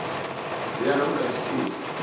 lea namkha isiquntu